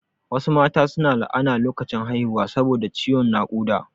Wasu mata su na la'ana lokacin haihuwa saboda ciwon naƙuda